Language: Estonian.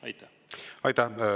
Aitäh!